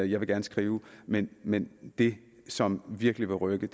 jeg vil gerne skrive men men det som virkelig vil rykke